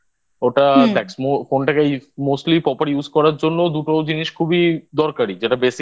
ওটা দেখ Phone টাকে Smoothly Proper Use করার জন্য দুটো জিনিস খুবই দরকারি যেটা Basic